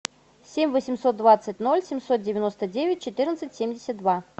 семь восемьсот двадцать ноль семьсот девяносто девять четырнадцать семьдесят два